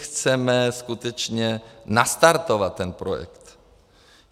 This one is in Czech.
Chceme skutečně nastartovat ten projekt.